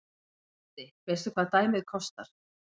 Broddi: Veistu hvað dæmið kostar?